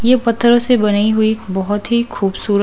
ये पत्थरों से बनी हुई बहुत ही खूबसूरत--